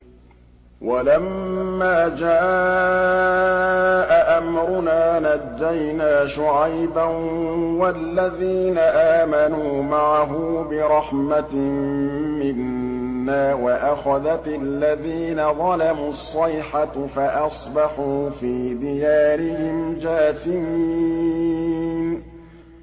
وَلَمَّا جَاءَ أَمْرُنَا نَجَّيْنَا شُعَيْبًا وَالَّذِينَ آمَنُوا مَعَهُ بِرَحْمَةٍ مِّنَّا وَأَخَذَتِ الَّذِينَ ظَلَمُوا الصَّيْحَةُ فَأَصْبَحُوا فِي دِيَارِهِمْ جَاثِمِينَ